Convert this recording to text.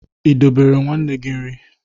I dobere nwanne gi nri?